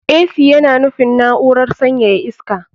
Ac yana nufin na'urar sanyaya iska.